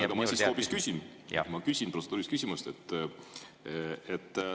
Aga ma siis hoopis küsin, ma küsin protseduurilise küsimuse.